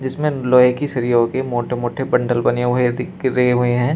जिसमे लोहे की सरिया के मोटे-मोटे बंडल बने हुए है दिख रहे हुए हैं।